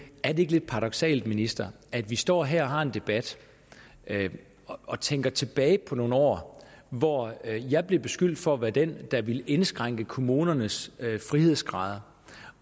er det ikke lidt paradoksalt ministeren at vi står her og har en debat og tænker tilbage på nogle år hvor jeg blev beskyldt for at være den der ville indskrænke kommunernes frihedsgrader